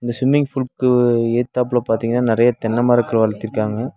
இந்த ஸ்விம்மிங் ஃபுல்லுக்கு எதுதாப்புல பாத்தீங்கன்னா நறைய தென்ன மரக்கள் வளத்திற்க்காங்க.